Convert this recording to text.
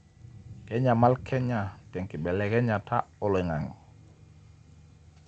kenyaml kenya te nkibelekenyata olang'ang'e